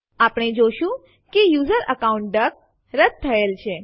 આપણે જોશું કે યુઝર અકાઉન્ટ ડક રદ થયેલ છે